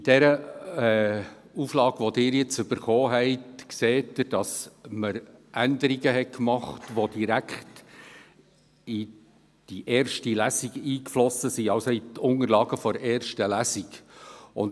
An der Ihnen abgegebenen Fassung sehen Sie, dass Änderungen vorgenommen wurden, welche direkt in die Spalte «Ergebnis der ersten Lesung» eingeflossen sind.